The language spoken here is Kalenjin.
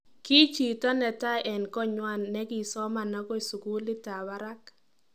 Kii chito netai en konywan negisoma agoi sugulit ab baraak.